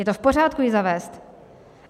Je to v pořádku ji zavést.